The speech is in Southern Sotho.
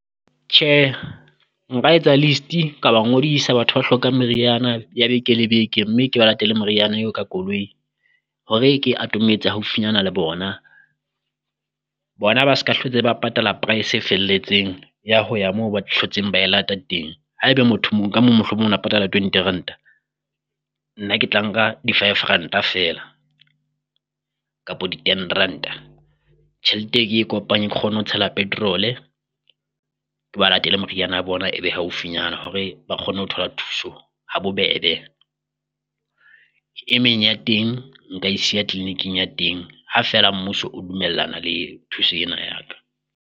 Tjhe nka etsa list-e ka ba ngodisa batho ba hlokang meriana ya beke le beke, mme ke ba latele moriana eo ka koloi hore ke atometse haufinyane le bona. Bona ba ska hlotse ba patala price e felletseng ya ho ya moo ba tlhotseng ba e lata teng, haeba motho ka mohlomong na patala twenty ranta nna ke tla nka di-five ranta feela, kapo di ten ranta. Tjhelete e ke e kopanye ke kgone ho tshela petrol-e, ke ba latele moriana ya bona, e be haufinyana hore ba kgone ho thola thuso ha bobebe. E meng ya teng nka e siya clinic-ing ya teng ha feela mmuso o dumellana le thuso ena ya ka.